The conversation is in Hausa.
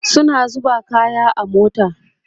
suna zuba kaya a mota